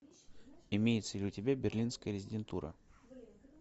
имеется ли у тебя берлинская резидентура